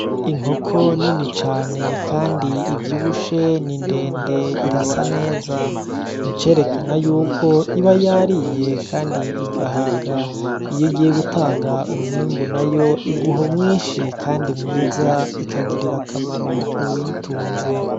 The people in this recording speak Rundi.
Inkoko nini cane kandi ivyibushe ni ndende irasa neza, icerekana yuko iba yariye kandi igahaga iyo igiye gutanga umwimbu nayo iguha mwinshi kandi mwiza ikagirira akamaro uwuyitunze.